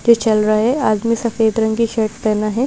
जो चल रहा है आदमी सफेद रंग की शर्ट पहना है ।